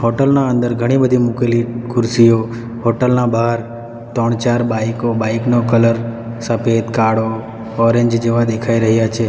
Hotel ના અંદર ઘણી બધી મૂકેલી ખુરશીઓ હોટલ ના બાર ત્રણ ચાર બાઈકો બાઈક નો કલર સફેદ કાળો ઓરેન્જ જેવા દેખાય રહ્યા છે.